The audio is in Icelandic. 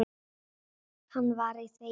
Hann var í þeim hópi.